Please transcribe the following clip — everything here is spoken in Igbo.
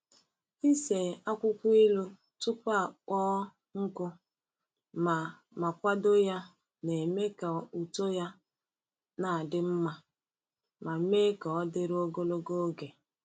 Ise akwukwo ilu tupu akpọọ nkụ ma ma kwadoo ya na-eme ka uto ya na-adị mma ma mee ka o dịru ogologo oge.